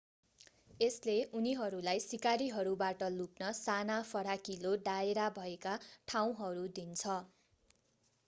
यसले उनीहरूलाई शिकारीहरूबाट लुक्न साना फराकिलो दायरा भएका ठाउँहरू दिन्छ